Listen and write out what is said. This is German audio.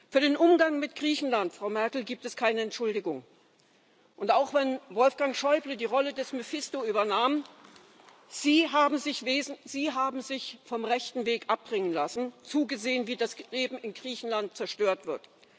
Für den Umgang mit Griechenland, Frau Merkel, gibt es keine Entschuldigung. Und auch, wenn Wolfgang Schäuble die Rolle des Mephisto übernahm Sie haben sich vom rechten Weg abbringen lassen und zugesehen, wie das Leben in Griechenland zerstört wird.